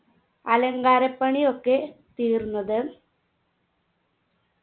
അലങ്കാരപ്പണിയൊക്കെ തീർന്നത്